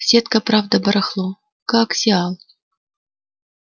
сетка правда барахло коаксиал